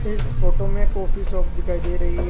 इस फोटो में coffee shop दिखाई दे रही है।